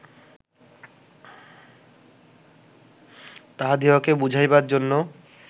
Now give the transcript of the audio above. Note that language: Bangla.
তাঁহাদিগকে বুঝাইবার জন্য